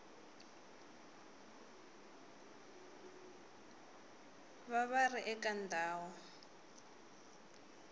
va va ri eka ndhawu